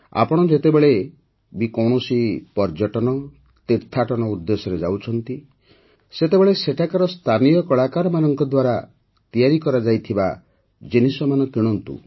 ଆପଣ ଯେତେବେଳେ ବି କୌଣସି ପର୍ଯ୍ୟଟନ ତୀର୍ଥାଟନ ଉଦ୍ଦେଶ୍ୟରେ ଯାଉଛନ୍ତି ସେତେବେଳେ ସେଠାକାର ସ୍ଥାନୀୟ କଳାକାରମାନଙ୍କ ଦ୍ୱାରା ତିଆରି କରାଯାଇଥିବା ଜିନିଷମାନ ନିଶ୍ଚୟ କିଣନ୍ତୁ